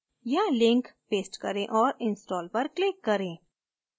यहाँ link paste करें और install पर click करें